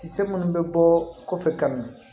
Kisɛ munnu bɛ bɔ kɔfɛ ka ɲɛ